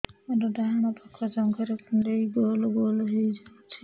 ମୋର ଡାହାଣ ପାଖ ଜଙ୍ଘରେ କୁଣ୍ଡେଇ ଗୋଲ ଗୋଲ ହେଇଯାଉଛି